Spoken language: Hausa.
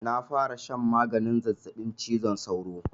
Na fara shan maganin zazzabin cizon sauro.